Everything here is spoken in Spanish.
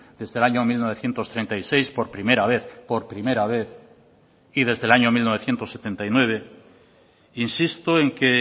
desde el año mil novecientos treinta y seis por primera vez por primera vez y desde el año mil novecientos setenta y nueve insisto en que